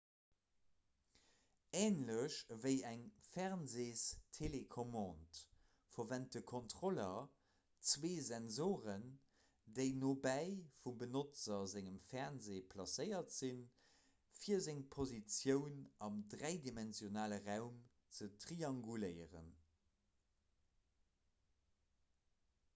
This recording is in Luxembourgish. änlech ewéi eng fernseestelecommande verwent de kontroller zwee sensoren déi nobäi vum benotzer sengem fernseh placéiert sinn fir seng positioun am dräidimensionale raum ze trianguléieren